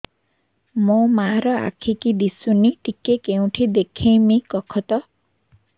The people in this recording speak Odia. ମୋ ମା ର ଆଖି କି ଦିସୁନି ଟିକେ କେଉଁଠି ଦେଖେଇମି କଖତ